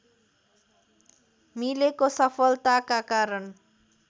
मिलेको सफलताका कारण